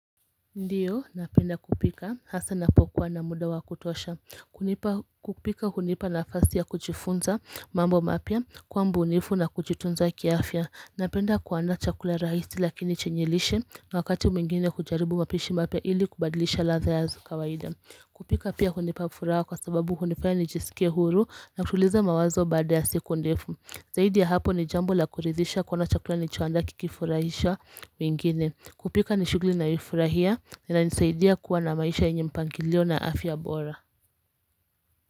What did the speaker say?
Ndiyo napenda kupika hasa napokuwa na muda wa kutosha kupika hunipa na fasi ya kuchifunza mambo mapia kuwambunifu na kujitunza kiafya napenda kuandaa chakula rahisi lakini chenyelishe na wakati mwingine kujaribu mapishi mapia ili kubadilisha la za yazo kawaida kupika pia hunipa furaha kwa sababu hunifanya nijisikia huru na kutuliza mawazo baada ya siku ndefu zaidi ya hapo ni jambo la kuridhisha kuona chakula ni choaanda kikifurahisha wengine kupika nishughuli na yoifurahia ina nisaidia kuwa na maisha yenye mpangilio na afya bora.